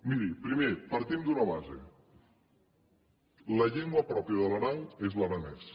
miri primer partim d’una base la llengua pròpia de l’aran és l’aranès